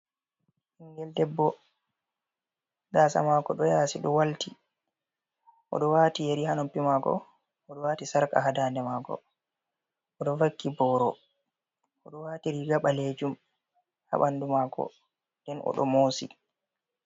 Ɓingel debbo gasa mako ɗo yasi ɗo walti. O ɗo wati yari ha noppi mako, o ɗo wati sarka ha dande mako. O ɗo vakki boro, o ɗo wati riga baleejum ha ɓandu mako. Nden o ɗo mosi.